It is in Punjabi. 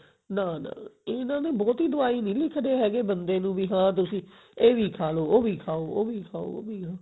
ਨਾ ਨਾ ਇਹ ਨਾ ਬਹੁਤੀ ਦਵਾਈ ਨਹੀਂ ਲਿੱਖਦੇ ਹੈਗੇ ਬੰਦੇ ਨੂੰ ਵੀ ਹਾਂ ਤੁਸੀਂ ਇਹ ਵੀ ਖਾ ਲੋ ਉਹ ਵੀ ਖਾਓ ਉਹ ਵੀ ਖਾਓ ਉਹ ਵੀ ਖਾਓ